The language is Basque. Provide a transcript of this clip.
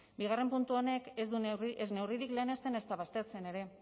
bigarren puntu honek ez neurririk lehenesten ezta baztertzen ere